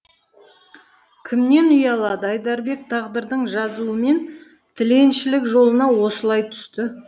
кімнен ұялады айдарбек тағдырдың жазуымен тіленшілік жолына осылай түсті